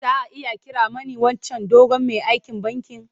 Za a iya kiran mani wancan dogon mai aikin bankin?